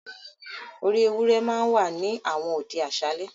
“orí ewúrẹ́ ” ma ń wà ní àwọn òde àṣálẹ́.